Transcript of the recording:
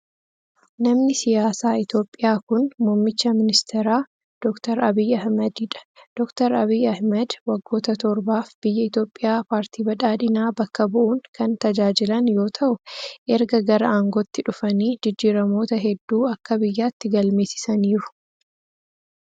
Namni siyaasaa Itoophiyaa kun muummicha ministeeraa ,Doktar Abiyyi Ahimadii dha. Doktar Abiyyi Ahimadii waggoota torbaaf biyya Itoophiyaa paartii badhaadhinaa bakka bu'uun kan tajaajilan yoo ta'u, erga gara aangootti dhufanii jijjiiramoota hedduu akka biyyaatti galmeessisaniiru.